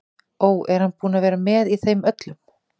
Ó, er hann búinn að vera með í þeim öllum?